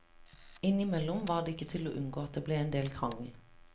Inn i mellom var det ikke til å unngå at det ble en del krangel.